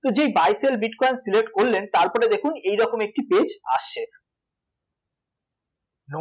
তো যেই bitcoin select করলেন তারপরে দেখুন এইরকম একটি page আসছে